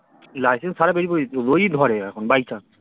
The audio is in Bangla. license ছাড়াই বেরিয়ে পরবি যদি ধরে এখন by chance